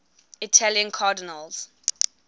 italian cardinals